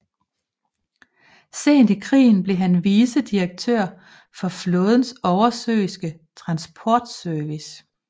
Sent i krigen blev han vicedirektør for flådens oversøiske transportservice